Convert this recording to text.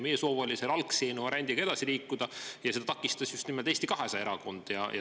Meie soov oli selle algse variandiga edasi liikuda, aga seda takistas just nimelt Eesti 200 erakond.